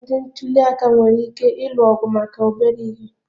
Ndị ntuli aka nwere ike ịlụ ọgụ maka obere ihe